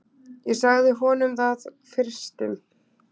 Ég sagði honum það fyrstum.